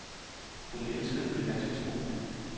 Hun elskede det danske sprog.